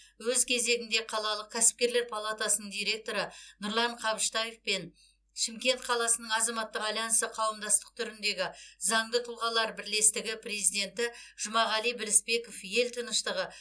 өз кезегінде қалалық кәсіпкерлер палатасының директоры нұрлан қабыштаев пен шымкент қаласының азаматтық альянсы қауымдастық түріндегі заңды тұлғалар бірлестігі президенті жұмағали білісбеков ел тыныштығы